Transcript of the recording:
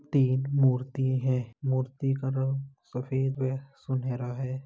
तीन मूर्ति है। मूर्ति का रंग सफेद व सुनहरा है।